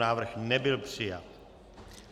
Návrh nebyl přijat.